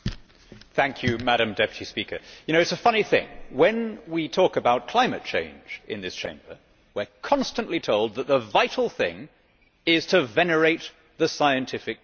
Madam President, it is a funny thing when we talk about climate change in this Chamber, we are constantly told that the vital thing is to venerate the scientific consensus.